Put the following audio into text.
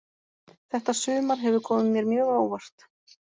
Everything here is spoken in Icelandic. Þetta sumar hefur komið mér mjög á óvart.